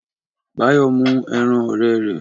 Báyọ̀ mú ẹran ọ̀rẹ́ rẹ̀.